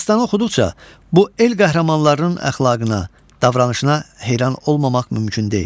Dastanı oxuduqca bu el qəhrəmanlarının əxlaqına, davranışına heyran olmamaq mümkün deyil.